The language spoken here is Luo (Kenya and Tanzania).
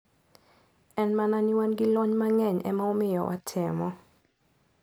En mana ni wan gi lony mang`eny ema omiyo watemo.